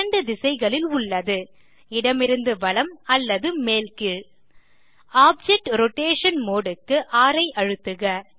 2 திசைகளில் உள்ளது - இடமிருந்து வலம் அல்லது மேல் கீழ் ஆப்ஜெக்ட் ரோடேஷன் modeக்கு ர் ஐ அழுத்துக